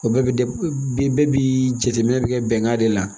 O bɛɛ bi bi bɛɛ bi jateminɛ bi kɛ bɛnkan de la